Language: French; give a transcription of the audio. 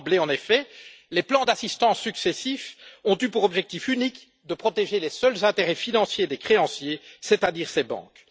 D'emblée, en effet, les plans d'assistance successifs ont eu pour objectif unique de protéger les seuls intérêts financiers des créanciers, c'est à dire ces banques.